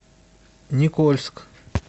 никольск